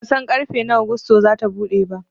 Bansan ƙarfe nawa gusto zasu buɗe ba